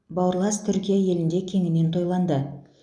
бауырлас түркия елінде кеңінен тойланды